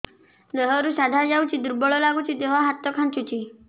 ଦେହରୁ ସାଧା ଯାଉଚି ଦୁର୍ବଳ ଲାଗୁଚି ଦେହ ହାତ ଖାନ୍ଚୁଚି